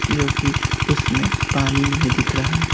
जो कि उसमें पानी नहीं दिख रहा।